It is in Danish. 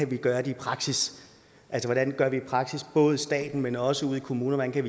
kan gøre det i praksis altså hvordan kan vi i praksis både hjælpe staten men også kommunerne